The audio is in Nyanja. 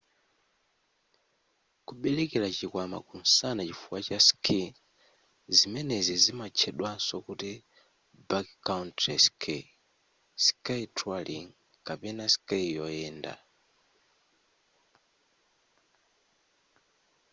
kubelekera chikwama kumsana chifukwa cha ski zimenezi zimatchedwaso kuti backcountry ski ski touring kapena ski yoyenda